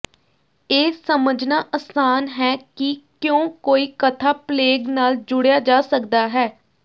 ਇਹ ਸਮਝਣਾ ਅਸਾਨ ਹੈ ਕਿ ਕਿਉਂ ਕੋਈ ਕਥਾ ਪਲੇਗ ਨਾਲ ਜੁੜਿਆ ਜਾ ਸਕਦਾ ਹੈ